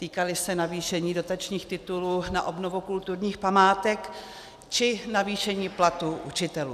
Týkaly se navýšení dotačních titulů na obnovu kulturních památek či navýšení platů učitelů.